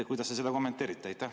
Kuidas te seda kommenteerite?